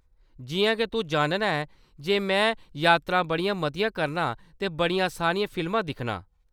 जिʼयां के तूं जानना ऐं जे में यात्रां बड़ियां मतियां करनां ते बड़ियां सारियां फिल्मां दिक्खनां।